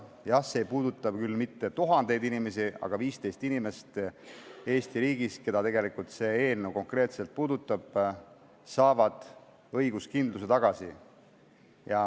Jah, see ei puuduta küll mitte tuhandeid inimesi, aga 15 inimest Eesti riigis, keda see eelnõu konkreetselt puudutab, saavad õiguskindluse tagasi.